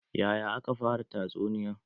Yaya ake fara tatsuniya?